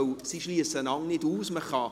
Denn Sie schliessen sich nicht aus;